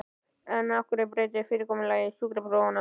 En af hverju að breyta fyrirkomulagi sjúkraprófanna?